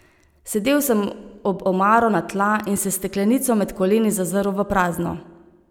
Sedel sem ob omaro na tla in se s steklenico med koleni zazrl v prazno.